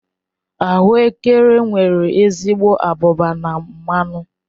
Ahuekere nwere ezigbo abụba na mmanụ